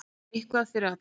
Eitthvað fyrir alla